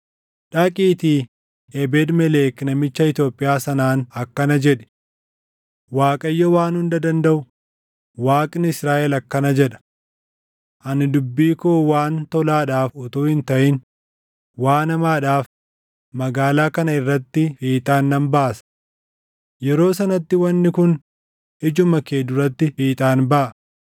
“Dhaqiitii Ebeed-Melek namicha Itoophiyaa sanaan akkana jedhi; ‘ Waaqayyo Waan Hunda Dandaʼu, Waaqni Israaʼel akkana jedha: Ani dubbii koo waan tolaadhaaf utuu hin taʼin waan hamaadhaaf magaalaa kana irratti fiixaan nan baasa. Yeroo sanatti wanni kun ijuma kee duratti fiixaan baʼa.